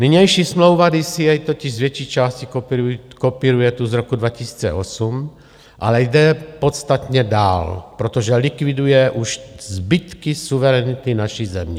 Nynější smlouva DCA totiž z větší části kopíruje tu z roku 2008, ale jde podstatně dál, protože likviduje už zbytky suverenity naší země.